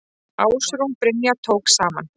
Ásrún Brynja tók saman.